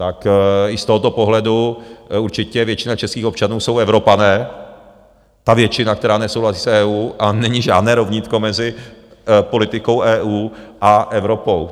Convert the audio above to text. Tak i z tohoto pohledu určitě většina českých občanů jsou Evropané, ta většina, která nesouhlasí s EU, a není žádné rovnítko mezi politikou EU a Evropou.